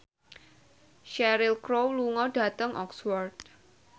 Cheryl Crow lunga dhateng Oxford